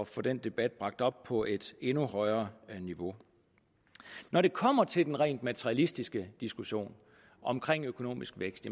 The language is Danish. få den debat bragt op på et endnu højere niveau når det kommer til den rent materialistiske diskussion omkring økonomisk vækst